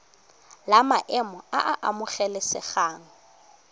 la maemo a a amogelesegang